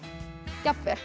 jafnvel